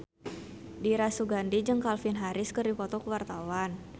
Dira Sugandi jeung Calvin Harris keur dipoto ku wartawan